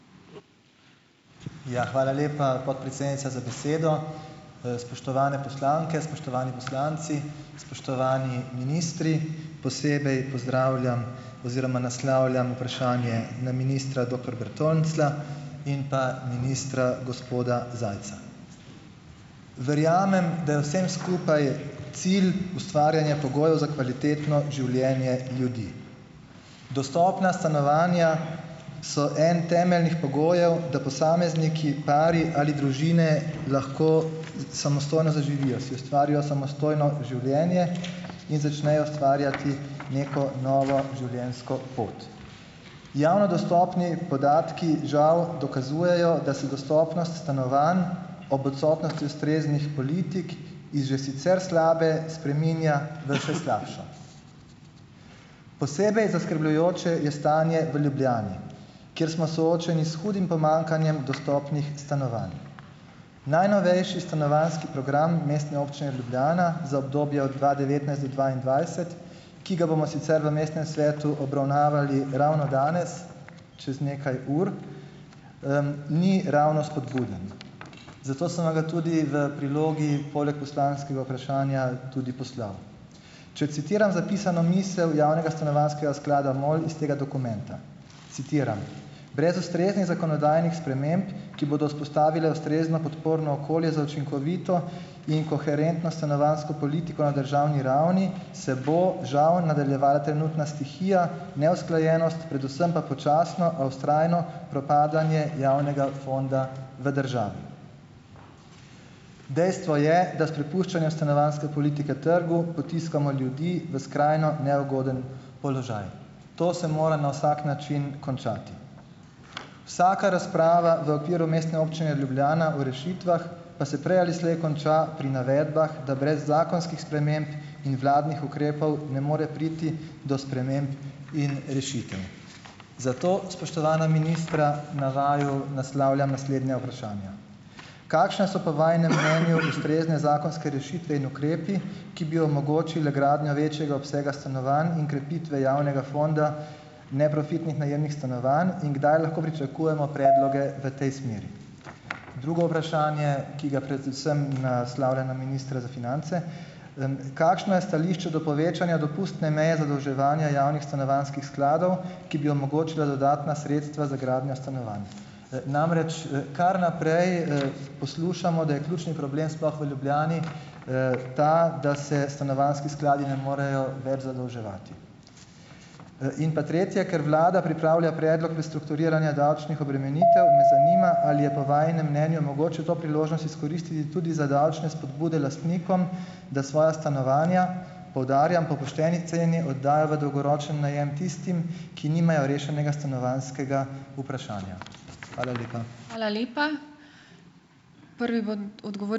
Ja, hvala lepa, podpredsednica, za besedo. Spoštovane poslanke, spoštovani poslanci, spoštovani ministri. Posebej pozdravljam oziroma naslavljam vprašanje na ministra doktor Bertonclja in pa ministra gospoda Zajca. Verjamem, da je vsem skupaj cilj ustvarjanje pogojev za kvalitetno življenje ljudi. Dostopna stanovanja so en temeljnih pogojev, da posamezniki, pari ali družine lahko samostojno zaživijo, si ustvarijo samostojno življenje in začnejo ustvarjati neko novo življenjsko pot. Javno dostopni podatki žal dokazujejo, da se dostopnost stanovanj ob odsotnosti ustreznih politik iz že sicer slabe spreminja v še slabšo. Posebej zaskrbljujoče je stanje v Ljubljani, kjer smo soočeni s hudim pomanjkanjem dostopnih stanovanj. Najnovejši stanovanjski program Mestne občine Ljubljana za obdobje od dva devetnajst do dvaindvajset, ki ga bomo sicer v mestnem svetu obravnavali ravno danes čez nekaj ur, ni ravno spodbuden. Zato sem vam ga tudi v prilogi poleg poslanskega vprašanja tudi poslal. Če citiram zapisano misel Javnega stanovanjskega sklada MOL iz tega dokumenta, citiram: "Brez ustreznih zakonodajnih sprememb, ki bodo vzpostavile ustrezno podporno okolje za učinkovito in koherentno stanovanjsko politiko na državni ravni, se bo žal nadaljevala trenutna stihija, neusklajenost, predvsem pa počasno, a vztrajno propadanje javnega fonda v državi. Dejstvo je, da s prepuščanjem stanovanjske politike trgu potiskamo ljudi v skrajno neugoden položaj. To se mora na vsak način končati." Vsaka razprava v okviru Mestne občine Ljubljana o rešitvah pa se prej ali slej konča pri navedbah, da brez zakonskih sprememb in vladnih ukrepov ne more priti do sprememb in rešitev. Zato, spoštovana ministra, na vaju naslavljam naslednja vprašanja. Kakšne so po vajinem mnenju ustrezne zakonske rešitve in ukrepi, ki bi omogočili gradnjo večjega obsega stanovanj in krepitve javnega fonda neprofitnih najemnih stanovanj, in kdaj lahko pričakujemo predloge v tej smeri? Drugo vprašanje, ki ga predvsem naslavljam na ministra za finance. Kakšno je stališče do povečanja dopustne meje zadolževanja javnih stanovanjskih skladov, ki bi omogočila dodatna sredstva za gradnjo stanovanj? Namreč, kar naprej, poslušamo, da je ključni problem, sploh v Ljubljani, ta, da se stanovanjski skladi ne morejo več zadolževati. In pa tretje. Ker vlada pripravlja predlog prestrukturiranja davčnih obremenitev, me zanima, ali je po vajinem mnenju mogoče to priložnost izkoristiti tudi za davčne spodbude lastnikom, da svoja stanovanja, poudarjam, po pošteni ceni oddajo v dolgoročni najem tistim, ki nimajo rešenega stanovanjskega vprašanja. Hvala lepa.